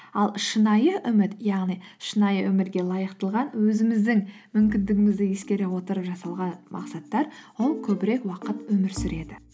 ал шынайы үміт яғни шынайы өмірге лайықтылған өзіміздің мүмкіндігімізді ескере отырып жасалған мақсаттар ол көбірек уақыт өмір сүреді